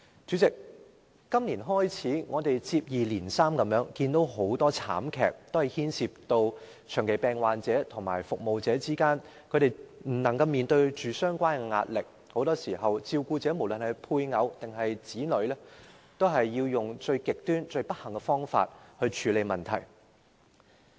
主席，我們自今年年初，接二連三看到很多慘劇，均牽涉長期病患者和照顧者未能面對相關的壓力，很多時候照顧者，不論是配偶或子女，也採用了最極端和最不幸的方法來處理問題。